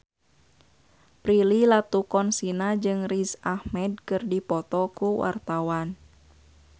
Prilly Latuconsina jeung Riz Ahmed keur dipoto ku wartawan